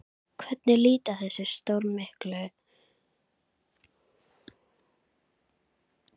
Hvernig líta þessi stórmerkilegu félagsskipti annars út í stærra samhengi?